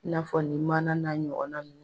I n'a fɔ nin maana n'a ɲɔgɔnnaw.